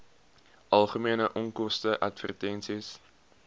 algemene onkoste advertensies